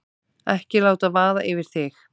Ekki láta vaða yfir þig.